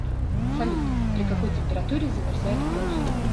салют при какой температуре замерзает кровь